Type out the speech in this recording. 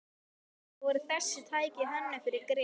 Upphaflega voru þessi tæki hönnuð fyrir grill